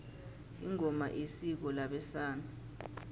ingoma isiko labesana